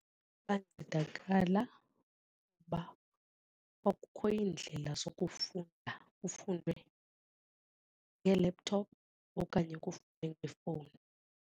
Bancedakala uba kwakukho iindlela zokufunda kufundwe ngee-laptop okanye kufundwe ngefowuni.